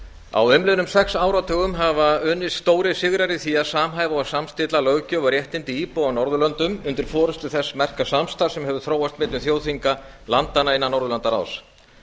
á umliðnum sex áratugum hafa unnist stórir sigrar í því að samhæfa og samstilla löggjöf og réttindi íbúa á norðurlöndum undir forustu þess merka samstarfs sem hefur þróast millum þjóðþinga landanna innan norðurlandaráðs